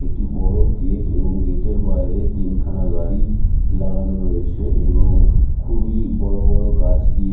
একটি বড়ো গেট এবং গেট -এর বাহিরে তিন খানা গাড়ি লাগানো রয়েছে এবং খুবই বড়ো বড়ো গাছ দিয়ে--